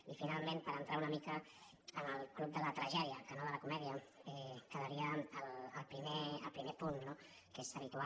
i finalment per entrar una mica en el club de la tragèdia que no de la comèdia quedaria el primer punt no que és habitual